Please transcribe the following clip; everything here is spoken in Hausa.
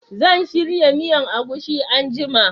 Zan shirya miyan agushi anguma